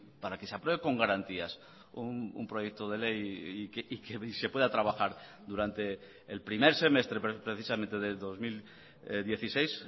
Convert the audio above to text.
para que se apruebe con garantías un proyecto de ley y que se pueda trabajar durante el primer semestre precisamente del dos mil dieciséis